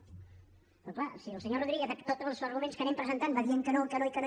però clar si el senyor rodríguez tots els arguments que anem presentant va dient que no que no i que no